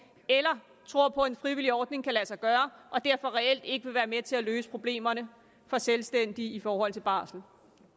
eller tror på at en frivillig ordning kan lade sig gøre og derfor reelt ikke vil være med til at løse problemerne for selvstændige i forhold til barsel